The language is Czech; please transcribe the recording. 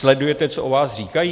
Sledujete, co o vás říkají?